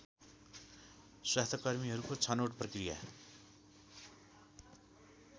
स्वास्थ्यकर्मीहरूको छनौट प्रक्रिया